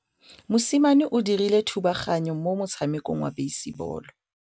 Mosimane o dirile thubaganyô mo motshamekong wa basebôlô.